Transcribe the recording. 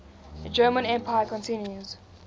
german empire continues